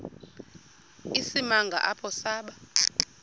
isimanga apho saba